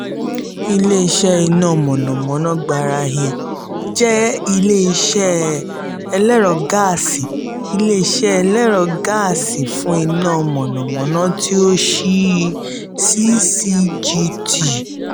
ile-iṣẹ iná mọ̀nàmọ́ná gbarain jẹ ile-iṣẹ ẹlẹ́rọ gáàsì ile-iṣẹ ẹlẹ́rọ gáàsì fún iná mọ̀nàmọ́ná ti o ṣii ccgt.